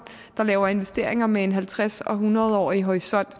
der laver investeringer med en halvtreds og hundrede årig horisont